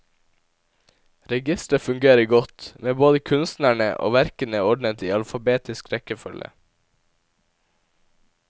Registeret fungerer godt, med både kunstnerne og verkene ordnet i alfabetisk rekkefølge.